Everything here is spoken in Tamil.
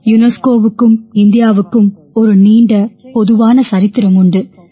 யுனெஸ்கோவுக்கும் இந்தியாவுக்கும் ஒரு நீண்ட பொதுவான சரித்திரம் உண்டு